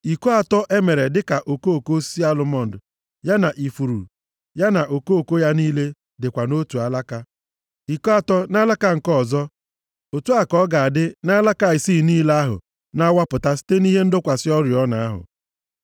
Iko atọ e mere dịka okoko osisi alụmọnd ya na ifuru, ya na okoko ya niile dịkwa nʼotu alaka; iko atọ nʼalaka nke ọzọ, otu a ka ọ ga-adị nʼalaka isii niile ahụ na-awapụta site nʼihe ịdọkwasị oriọna ahụ.